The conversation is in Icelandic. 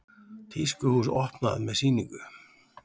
Tískuhús opnað með sýningu